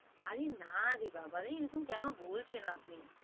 আরে নারে বাবারে এরকম কেন বলছেন আপনি